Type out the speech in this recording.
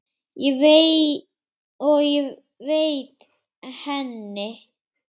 og veita henni.